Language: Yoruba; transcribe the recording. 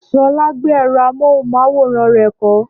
Ṣọlá gbé ẹ̀rọ amóhùmáwòhán rẹ̀ kọ́.